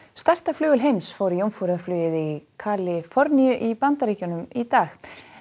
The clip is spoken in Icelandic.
stærsta flugvél heims fór í jómfrúarflugið í Kaliforníu í Bandaríkjunum í dag